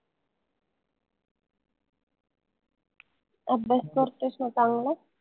अभ्यास करतोयस न चांगला?